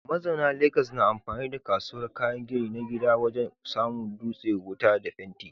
Mazauna Legas na amfani da kasuwar kayan gini na gida wajen samo dutsen wuta da fenti.